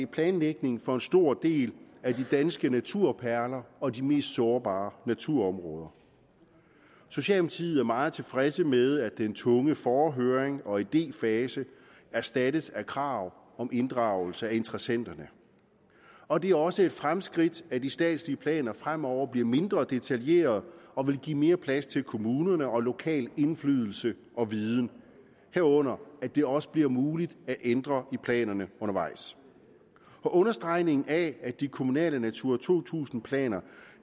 planlægning for en stor del af de danske naturperler og de mest sårbare naturområder socialdemokratiet er meget tilfredse med at den tunge forhøring og idéfase erstattes af krav om inddragelse af interessenterne og det er også et fremskridt at de statslige planer fremover bliver mindre detaljerede og vil give mere plads til kommunerne og lokal indflydelse og viden herunder at det også bliver muligt at ændre i planerne undervejs og understregningen af at de kommunale natura to tusind planer